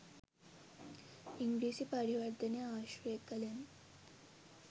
ඉංග්‍රීසි පරිවර්තනය ආශ්‍රය කළෙමි.